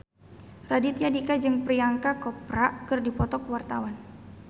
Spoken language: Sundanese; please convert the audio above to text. Raditya Dika jeung Priyanka Chopra keur dipoto ku wartawan